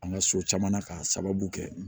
An ka so caman na k'a sababu kɛ